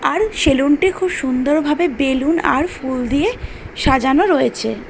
আর salon টি খুব সুন্দর ভাবে বেলুন আর ফুল দিয়ে সাজানো রয়েছে।